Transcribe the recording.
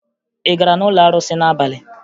Ị gara n'ụlọ arụsị n'abalị?